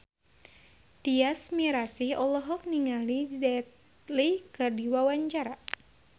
Tyas Mirasih olohok ningali Jet Li keur diwawancara